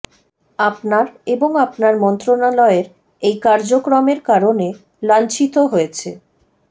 আপনার এবং আপনার মন্ত্রণালয়ের এই কার্যক্রমের কারণে লাঞ্ছিত হয়েছে